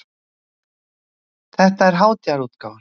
Þetta er hátíðarútgáfan.